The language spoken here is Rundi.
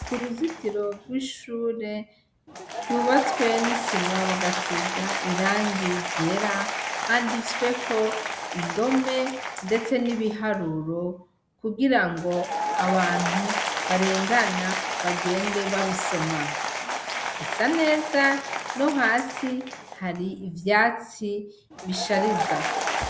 Ku ruzitiro rw'ishure rwubatswe n'isima bagasiga irangi ryera handitsweko indome, ndetse n'ibiharuro kugira ngo abantu barengana bagende babisoma, risa neza no hasi hari ivyatsi bishariza.